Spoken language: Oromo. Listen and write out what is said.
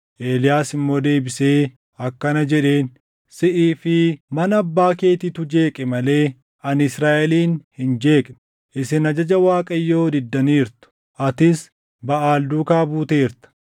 Eeliyaas immoo deebisee akkana jedheen; “Siʼii fi mana abbaa keetiitu jeeqe malee ani Israaʼelin hin jeeqne. Isin ajaja Waaqayyoo diddaniirtu; atis Baʼaal duukaa buuteerta.